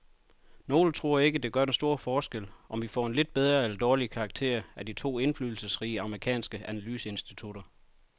Nogle tror ikke, det gør den store forskel, om vi får en lidt bedre eller dårligere karakter af de to indflydelsesrige amerikanske analyseinstitutter.